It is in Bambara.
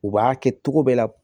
U b'a kɛ cogo bɛɛ la